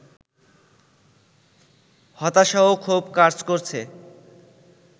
হতাশা ও ক্ষোভ কাজ করছে